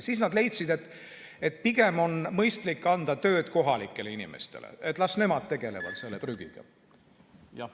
Siis nad leidsid, et pigem on mõistlik anda tööd kohalikele inimestele, et las nemad tegelevad selle prügiga.